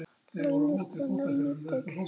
Leynist hérna lítil sáta.